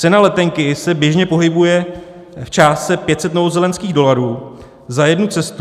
Cena letenky se běžně pohybuje v částce 500 novozélandských dolarů za jednu cestu.